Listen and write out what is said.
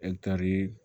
Ɛtari